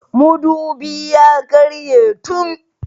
Mudubi ya karye tun.